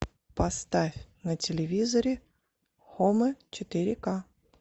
поставь на телевизоре хомы четыре ка